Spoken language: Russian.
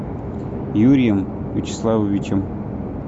юрием вячеславовичем